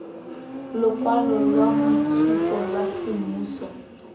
lokwalo lwa boitshupo lwa semmuso